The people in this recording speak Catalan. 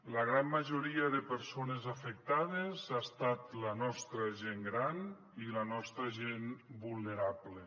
la gran majoria de persones afectades ha estat la nostra gent gran i la nostra gent vulnerable